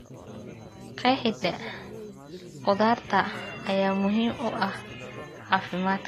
Qeexida khudaarta ayaa muhiim u ah caafimaadka.